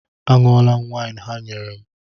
A ṅụọla m waịn ha nyere m.